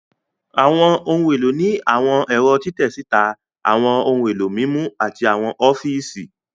Àwọn ohun èlò ní àwọn ẹ̀rọ́ títẹ síta, àwọn ohun èlò mímú, àti àwọn ọfíìsì